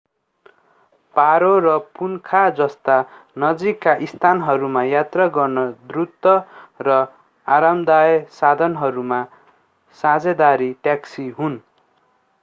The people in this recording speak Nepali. पारो नु 150 र पुनखा नु 200 जस्ता नजिकका स्थानहरूमा यात्रा गर्न द्रुत र आरामदायक साधनहरूमा साझेदारी ट्याक्सी हुन्।